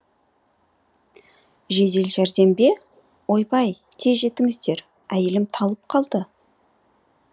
жедел жәрдем бе ойбай тез жетіңіздер әйелім талып қалды